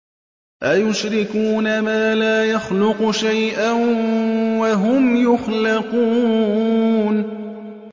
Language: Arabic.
أَيُشْرِكُونَ مَا لَا يَخْلُقُ شَيْئًا وَهُمْ يُخْلَقُونَ